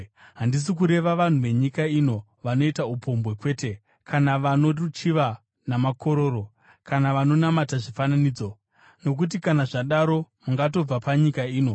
handisi kureva vanhu venyika ino vanoita upombwe, kwete, kana vano ruchiva namakororo, kana vanonamata zvifananidzo. Nokuti kana zvadaro mungatobva panyika ino.